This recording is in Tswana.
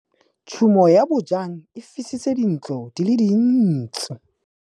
Tshumô ya bojang e fisitse dintlo di le dintsi.